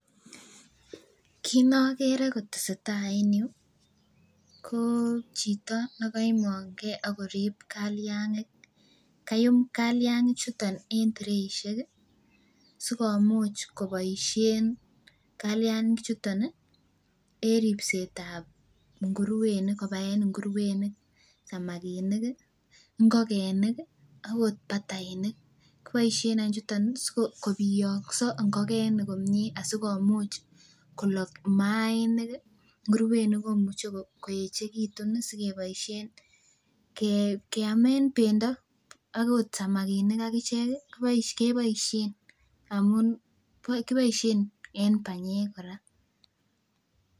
Kiit nokere kotesetaa en yuu ko chito nekoimong'e ak korib kaliang'ik, kayuum kaliangichuton en treishek sikomuch koboishen kaliang'ichuton en ribsetab ng'uruwenik kobaen ng'uruwenik, samakinik, ing'okenik akot batainik, koboishen chuton any sikobiong'so ing'okenik komnye asikomuch kolok maiinik, ng'uruwenik komuch koechekitun sikeboishen keamen bendo akot samakinik akichek keboishen amun kiboishen en banyek kora.